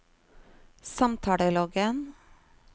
samtaleloggen